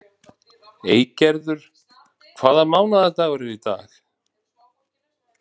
Eygerður, hvaða mánaðardagur er í dag?